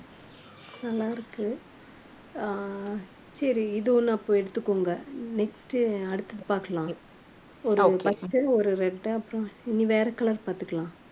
நல்லா இருக்கு அஹ் சரி இது ஒண்ணு அப்போ எடுத்துக்கோங்க. next அடுத்தது பார்க்கலாம். ஒரு first ஒரு red அப்புறம் இனி வேற color பாத்துக்கலாம்.